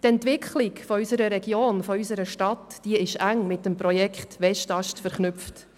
Die Entwicklung unserer Region und unserer Stadt ist eng mit dem Projekt Westast verknüpft.